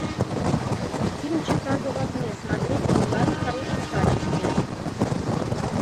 фильм чикаго в огне смотреть онлайн в хорошем качестве